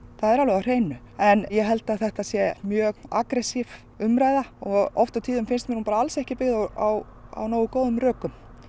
en ég held að þetta sé mjög aggressíf umræða og oft á tíðum finnst mér hún bara ekki byggð á nógu góðum rökum